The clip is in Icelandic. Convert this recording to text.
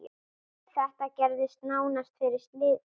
Þetta gerðist nánast fyrir slysni.